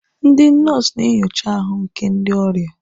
Ndị nọọsụ na-enyocha ahụ nke ndị ọrịa.